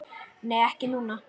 Nei, ekki núna.